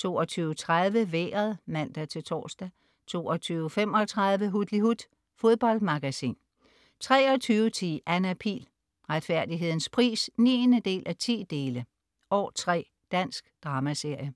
22.30 Vejret (man-tors) 22.35 Hutlihut. Fodboldmagasin 23.10 Anna Pihl. Retfærdighedens pris 9:10. År 3. Dansk dramaserie